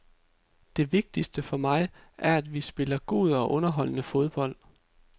Det vigtigste for mig er, at vi spiller god og underholdende fodbold.